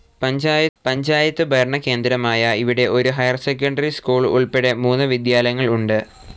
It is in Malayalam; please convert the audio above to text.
പഞ്ചായത്ത് ഭരണകേന്ദ്രമായ ഇവിടെ ഒരു ഹൈർ സെക്കൻഡറി സ്കൂൾ ഉൾപ്പെടെ മൂന്ന് വിദ്യാലയങ്ങൾ ഉണ്ട്.